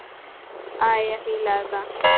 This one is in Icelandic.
Ég fíla þetta.